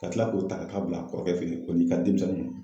Ka tila k'o ta ka t'o bila kɔrɔkɛ fɛ yen o n'i ka denmisɛnnin ninnu.